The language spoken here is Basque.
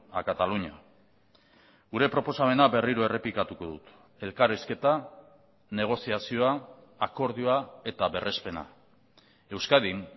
a cataluña gure proposamena berriro errepikatuko dut elkarrizketa negoziazioa akordioa eta berrespena euskadin